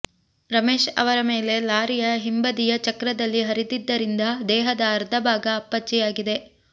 ರಮೇಶ್ ಅವರ ಮೇಲೆ ಲಾರಿಯ ಹಿಂಬದಿಯ ಚಕ್ರದಲ್ಲಿ ಹರಿದಿದ್ದರಿಂದ ದೇಹದ ಅರ್ಧಭಾಗ ಅಪ್ಪಚ್ಚಿಯಾಗಿದೆ